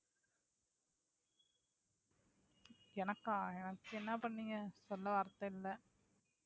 எனக்கா என்ன பண்ணீங்க சொல்ல வார்த்தை இல்லை